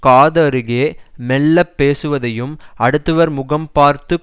காதருகே மெல்லப் பேசுவதையும் அடுத்தவர் முகம் பார்த்து